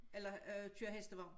Eller øh køre hestevogn